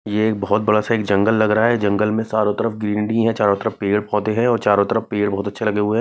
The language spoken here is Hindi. ये एक बहोत बड़ा सा एक जंगल लग रहा है जंगल में चारो तरफ ग्रीनरी है चारो तरफ पेड़ पोधे है चारो तरफ पेड़ बहोत अच्छे लगे हुए हैं।